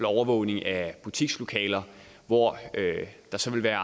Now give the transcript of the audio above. overvågning af butikslokaler hvor der så vil være